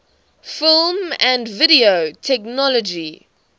film and video technology